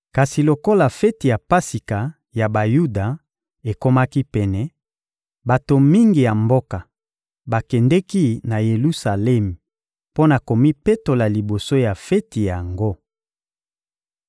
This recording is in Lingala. Kasi lokola feti ya Pasika ya Bayuda ekomaki pene, bato mingi ya mboka bakendeki na Yelusalemi mpo na komipetola liboso ya feti yango.